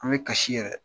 An bɛ kasi yɛrɛ